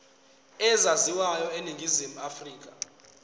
ezaziwayo eningizimu afrika